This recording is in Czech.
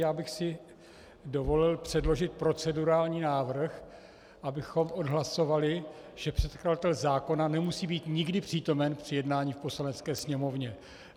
Já bych si dovolil předložit procedurální návrh, abychom odhlasovali, že předkladatel zákona nemusí být nikdy přítomen při jednání v Poslanecké sněmovně.